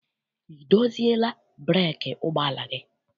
I doziela breeki ụgbọala gị?